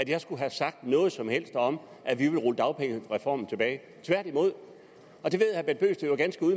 jeg skulle have sagt noget som helst om at vi ville rulle dagpengereformen tilbage tværtimod og det